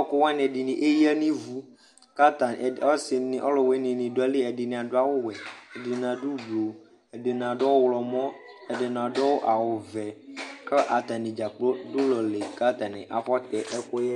ɔkʋwani ɛɖini eyea n'ivuk'ataniɔsini ɔlʋwini ɖʋ ayili ɛɖɛni aɖʋ awuwʋɛ, ɛɖini aɖʋ ɔblɔ,,ɛɖini aɖʋ ɔɣlɔmɔ, ɛɖini aɖʋ awu vɛk'atani dza kplo ɖʋ ʋlɔli k'atani afɔtɛ ɛkʋyɛ